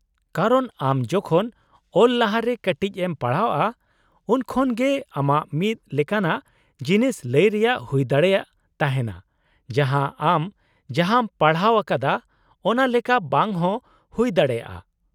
ᱠᱟᱨᱚᱱ ᱟᱢ ᱡᱚᱠᱷᱚᱱ ᱚᱞ ᱞᱟᱦᱟᱨᱮ ᱠᱟᱹᱴᱤᱡ ᱮᱢ ᱯᱟᱲᱦᱟᱣᱼᱟ, ᱩᱱᱠᱷᱟᱱ ᱜᱮ ᱟᱢᱟᱜ ᱢᱤᱫ ᱞᱮᱠᱟᱱᱟᱜ ᱡᱤᱱᱤᱥ ᱞᱟᱹᱭ ᱨᱮᱭᱟᱜ ᱦᱩᱭ ᱫᱟᱲᱮᱭᱟᱜ ᱛᱟᱦᱮᱱᱟ ᱡᱟᱦᱟᱸ, ᱟᱢ ᱡᱟᱦᱟᱸᱢ ᱯᱟᱲᱦᱟᱣ ᱟᱠᱟᱫᱟ ᱚᱱᱟ ᱞᱮᱠᱟ ᱵᱟᱝ ᱦᱚᱸ ᱦᱩᱭ ᱫᱟᱲᱮᱭᱟᱜᱼᱟ ᱾